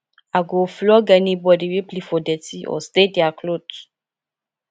i go flog anybody wey play for dirty or stain their cloths